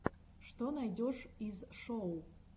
что найдешь из шоу